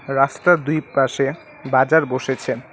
রাস্তার দুই পাশে বাজার বসেছে।